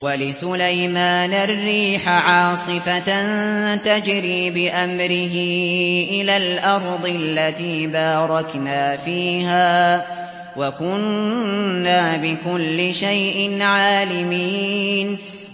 وَلِسُلَيْمَانَ الرِّيحَ عَاصِفَةً تَجْرِي بِأَمْرِهِ إِلَى الْأَرْضِ الَّتِي بَارَكْنَا فِيهَا ۚ وَكُنَّا بِكُلِّ شَيْءٍ عَالِمِينَ